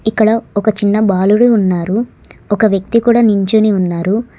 ఇక్కడ ఒక చిన్న బాలుడి ఉన్నారు ఒక వ్యక్తి కూడా నించొని ఉన్నారు.